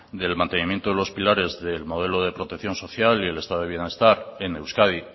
del mantenimiento de los pilares del modelo de protección social y del estado de bienestar en euskadi